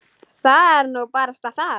Það er nú barasta það.